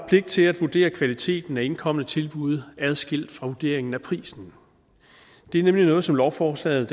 pligt til at vurdere kvaliteten af indkomne tilbud adskilt fra vurderingen af prisen det er nemlig noget som lovforslaget